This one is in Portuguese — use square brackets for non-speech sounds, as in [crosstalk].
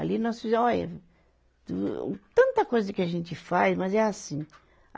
Ali nós fizemos [unintelligible] Tanta coisa que a gente faz, mas é assim.